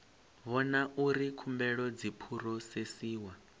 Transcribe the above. vhona uri khumbelo dzi phurosesiwa